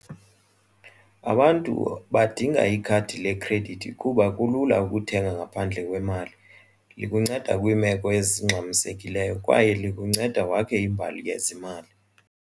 Abantu badinga ikhadi lekhredithi kuba kulula ukuthenga ngaphandle kwemali. Likuncede kwiimeko ezingxamisekileyo kwaye likuncede wakhe imbali yezimali.